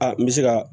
Aa n bɛ se ka